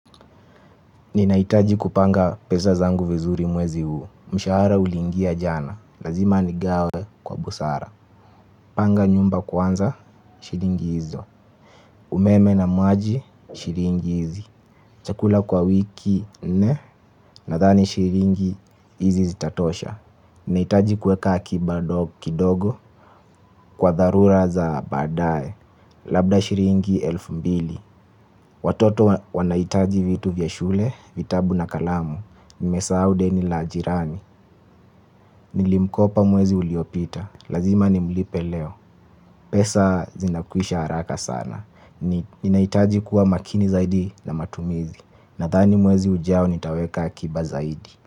Ninahitaji kupanga pesa zangu vizuri mwezi huu. Mshahara uliingia jana. Lazima nigawe kwa busara. Panga nyumba kwanza shilingi hizo. Umeme na maji shilingi hizi. Chakula kwa wiki nne. Nathani shilingi hizi zitatosha. Ninahitaji kuweka akiba kidogo. Kwa dharura za baadaye. Labda shilingi elfu mbili. Watoto wanahitaji vitu vya shule. Vitabu na kalamu. Nimesahau deni la jirani. Nilimkopa mwezi uliopita. Lazima nimlipe leo. Pesa zinakwisha haraka sana. Ninahitaji kuwa makini zaidi na matumizi. Nathani mwezi ujao nitaweka akiba zaidi.